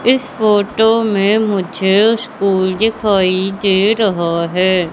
इस फोटो में मुझे स्कूल दिखाई दे रहा हैं।